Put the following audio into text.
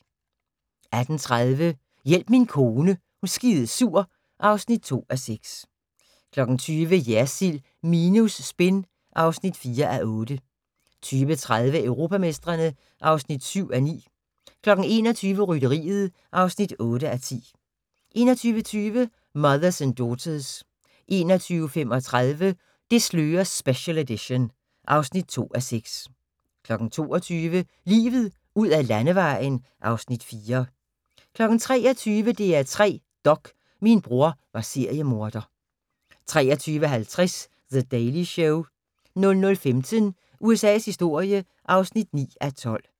18:30: Hjælp min kone er skidesur (2:6) 20:00: Jersild minus spin (4:8) 20:30: Europamestrene (7:9) 21:00: Rytteriet (8:10) 21:20: Mothers and Daughters 21:35: Det slører special edition (2:6) 22:00: Livet ud ad landevejen (Afs. 4) 23:00: DR3 Dok: Min bror var seriemorder 23:50: The Daily Show 00:15: USA's historie (9:12)